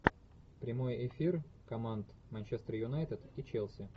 прямой эфир команд манчестер юнайтед и челси